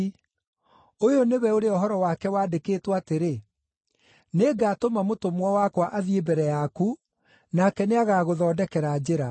Ũyũ nĩwe ũrĩa ũhoro wake wandĩkĩtwo atĩrĩ: “ ‘Nĩngatũma mũtũmwo wakwa athiĩ mbere yaku, nake nĩagagũthondekera njĩra.’